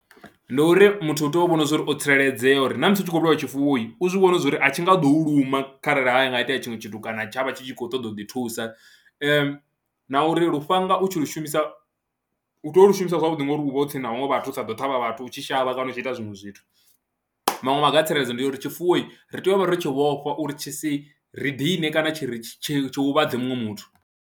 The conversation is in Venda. Ndi uri muthu u tea u vhona uri o tsireledzea uri na musi u tshi khou vhulaha tshifuwohi u zwi vhone zwa uri a tshi nga ḓo u luma kharali ha nga itea tshiṅwe tshithu kana tsha vha tshi khou ṱoḓa u ḓithusa na uri lufhanga u tshi lu shumisa u tea u lu shumisa zwavhuḓi ngori uv ha u tsini na vhaṅwe vhathu u sa ḓo ṱhavha vhathu ut shi shavha kana u tshi ita zwiṅwe zwithu. Maṅwe maga a tsireledzo ndi ya uri tshifuwohi, ri tea u vha ro tshi vhofha uri tshi si ri dine kana tshi ri tshi tshi huvhadze muṅwe muthu.